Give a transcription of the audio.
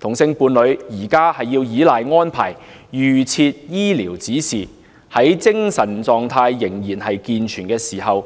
同性伴侶目前要依賴預設醫療指示，在精神狀態仍然健全時，及早